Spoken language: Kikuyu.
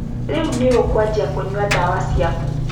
Rĩu nĩ ũkwajia kũnyua dawa ciaku.